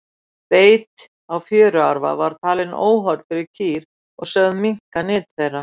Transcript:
beit á fjöruarfa var talinn óholl fyrir kýr og sögð minnka nyt þeirra